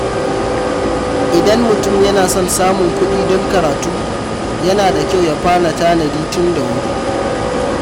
Idan mutum yana son samun kuɗi don karatu, yana da kyau ya fara tanadi tun da wuri.